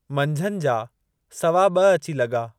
मंझंदि जा सवा ब॒ अची लॻा।